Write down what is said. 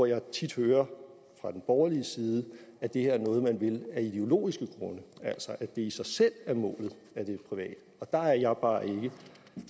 jeg tit hører fra den borgerlige side at det her er noget som man vil af ideologiske grunde altså at det i sig selv er målet at det er privat der er jeg bare ikke og